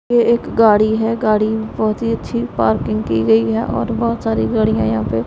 ये एक गाड़ी है गाड़ी बहोत ही अच्छी पार्किंग की गई है और बहोत सारी गाड़ियां यहां पे--